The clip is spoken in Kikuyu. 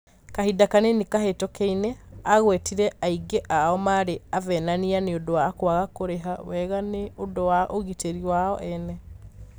Kahinda kanini kahĩtũkunĩ aagwetire aingĩ ao marĩ 'avenania' nĩ ũndũ wa kwaga kũrĩva wega nĩ ũndũ wa ũgitĩri wao ene.